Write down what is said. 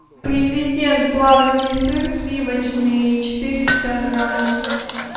президент плавленный сыр сливочный четыреста грамм